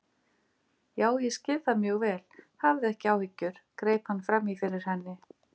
Já, ég skil það mjög vel, hafðu ekki áhyggjur- greip hann fram í fyrir henni.